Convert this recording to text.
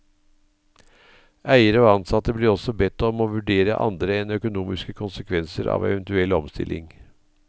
Eiere og ansatte blir også bedt om å vurdere andre enn økonomiske konsekvenser av eventuell omstilling.